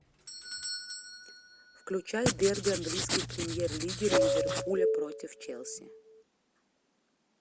включай дерби английской премьер лиги ливерпуля против челси